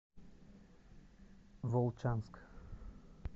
волчанск